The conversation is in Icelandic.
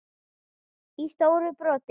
í stóru broti.